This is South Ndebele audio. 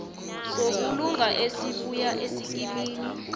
sobulunga esibuya esikimini